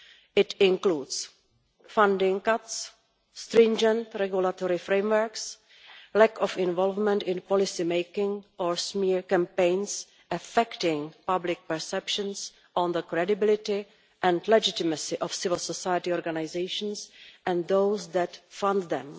It includes funding cuts, stringent regulatory frameworks, lack of involvement in policymaking, or smear campaigns affecting public perceptions of the credibility and legitimacy of civil society organisations and those that fund them.